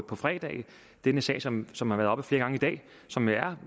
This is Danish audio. på fredag en sag som som har været oppe flere og som jo er